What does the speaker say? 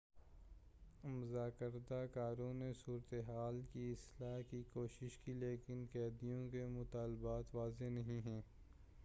مذاکرہ کاروں نے صورتِ حال کی اصلاح کی کوشش کی لیکن قیدیوں کے مطالبات واضح نہیں ہیں